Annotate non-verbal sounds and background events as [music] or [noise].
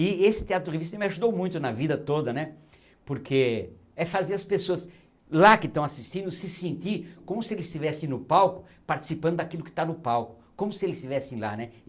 E esse teatro [unintelligible] me ajudou muito na vida toda né, porque é fazer as pessoas lá que estão assistindo se sentir como se eles estivessem no palco participando daquilo que está no palco, como se eles estivessem lá, né.